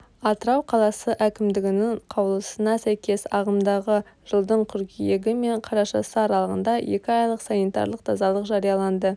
атырау қаласы әкімдігінің қаулысына сәйкес ағымдағы жылдың қыркүйегі мен қарашасы аралығында екі айлық санитарлық тазалық жарияланды